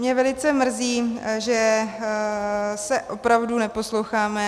Mě velice mrzí, že se opravdu neposloucháme.